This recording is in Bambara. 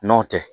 N'o tɛ